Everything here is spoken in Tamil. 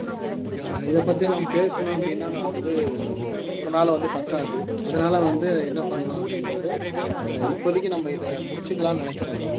இத பத்தி நம்ம பேசணும் அப்படீன்னா நான் வந்து ஒரு நாள் வந்து பத்தாது அதனால வந்து என்ன பண்ணலாம் அப்படின்றது இப்போதைக்கு நம்ம இதை முடிச்சுக்கலாம்னு நினைக்கிறேன்